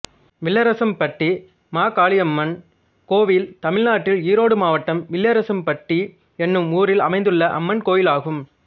வில்லரசம்பட்டி மாகாளியம்மன் கோயில் தமிழ்நாட்டில் ஈரோடு மாவட்டம் வில்லரசம்பட்டி என்னும் ஊரில் அமைந்துள்ள அம்மன் கோயிலாகும்